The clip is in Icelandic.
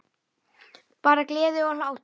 Bara gleði og hlátur.